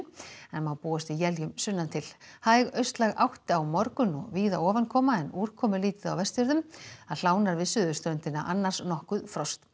en má búast við éljum sunnantil hæg austlæg átt á morgun og víða ofankoma en úrkomulítið á Vestfjörðum við suðurströndina annars nokkurt frost